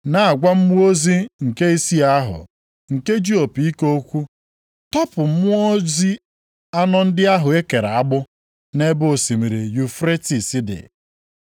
na-agwa mmụọ ozi nke isii ahụ, nke ji opi ike okwu, “Tọpụ mmụọ ozi anọ ndị ahụ e kere agbụ nʼebe osimiri Yufretis dị.”